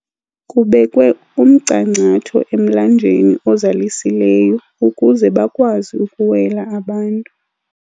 Kubekwe umcangcatho emlanjeni ozalisileyo ukuze bakwazi ukuwela abantu.